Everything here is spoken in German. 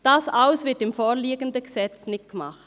Das alles wird im vorliegenden Gesetz nicht gemacht.